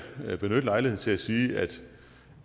da benytte lejligheden til at sige